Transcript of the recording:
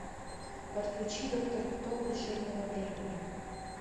подключи доктор кто крушение во времени